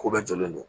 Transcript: Ko bɛɛ jɔlen don